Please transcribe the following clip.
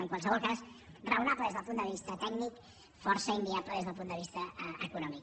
en qualsevol cas raonable des del punt de vista tècnic i força inviable des del punt de vista econòmic